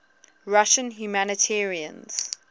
russian humanitarians